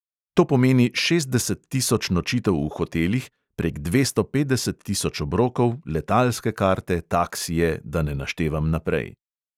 To pomeni šestdeset tisoč nočitev v hotelih, prek dvesto petdeset tisoč obrokov, letalske karte, taksije, da ne naštevam naprej.